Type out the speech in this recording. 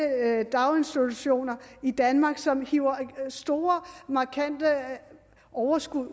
daginstitutioner i danmark som hiver store markante overskud